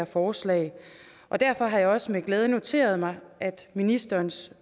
forslag og derfor har jeg også med glæde noteret mig ministerens